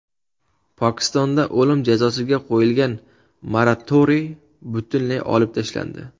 Pokistonda o‘lim jazosiga qo‘yilgan moratoriy butunlay olib tashlandi.